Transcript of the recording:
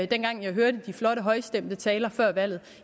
dengang jeg hørte de flotte højstemte taler før valget